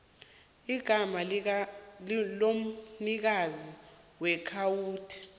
igama lomnikazi weakhawunti